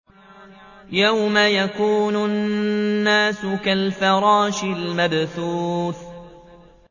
يَوْمَ يَكُونُ النَّاسُ كَالْفَرَاشِ الْمَبْثُوثِ